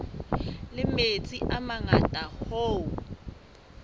la metsi a mangata hoo